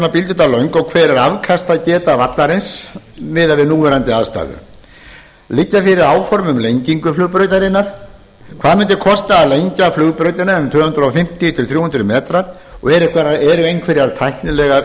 bíldudal löng og hver er afkastageta vallarins miðað við núverandi aðstæður liggja fyrir áform um lengingu flugbrautarinnar hvað mundi kosta að lengja flugbrautina um tvö hundruð fimmtíu til þrjú hundruð metra og er einhverjar tæknilegar